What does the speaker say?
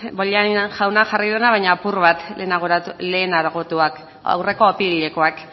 bollain jauna jarri duena baina apur bat lehenagotuak aurreko apirilekoak